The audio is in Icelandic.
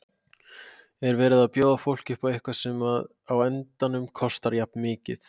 Er verið að bjóða fólki upp á eitthvað sem að á endanum kostar jafn mikið?